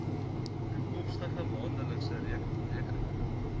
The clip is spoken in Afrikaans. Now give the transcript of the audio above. toekomstige maandelikse rekeninge